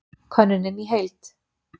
Könnunin í heild